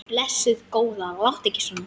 Blessuð góða, láttu ekki svona.